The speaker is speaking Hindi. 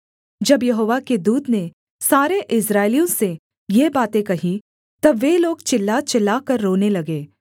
जब यहोवा के दूत ने सारे इस्राएलियों से ये बातें कहीं तब वे लोग चिल्ला चिल्लाकर रोने लगे